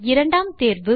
இரண்டாம் தேர்வு